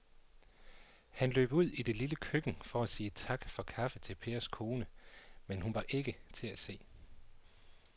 Han løb ud i det lille køkken for at sige tak for kaffe til Pers kone, men hun var ikke til at se.